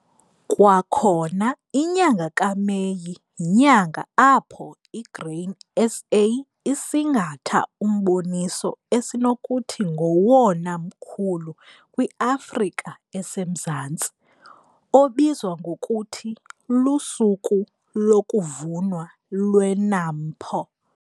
Kwakhona inyanga kaMeyi yinyanga apho iGrain SA isingatha umboniso esinokuthi ngowona mkhulu kwiAfrika eseMzantsi, obizwa ngokuthi luSuku lokuVunwa lweNAMPO.